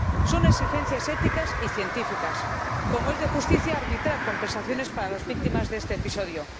Son exigencias éticas y científicas, como es de justicia arbitrar compensaciones para las víctimas de este episodio.